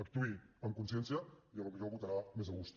actuï amb consciència i potser votarà més a gust